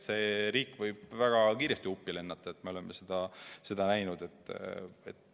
Selline riik võib väga kiiresti uppi lennata, me oleme seda näinud.